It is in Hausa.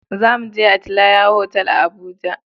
Za mu je Atelier otal a Abuja